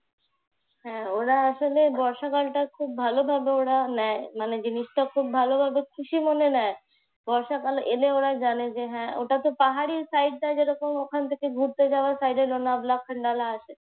হ্যাঁ ওরা আসলে বর্ষাকালটা ওরা খুব ভালোভাবে ওরা নেয় মানে জিনিসটা খুব ভালো মনে খুব খুশিমনে নেয়। বর্ষাকাল এলে ওরা জানে যে হ্যাঁ ওটা তো পাহাড়ি site ওখান থেকে ঘুরতে যাওয়ার সাইড হলো নগ্লাখান্ডালার